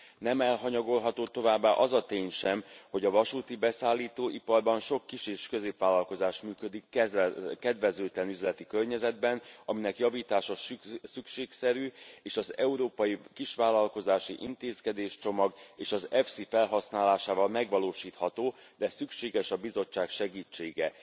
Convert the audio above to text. Nem elhanyagolható továbbá az a tény sem, hogy a vasúti beszállító iparban sok kis és középvállalkozás működik kedvezőtlen üzleti környezetben, aminek javítása szükségszerű és az európai kisvállalkozási intézkedéscsomag és az EPSI felhasználásával megvalósítható, de szükséges a Bizottság segítsége.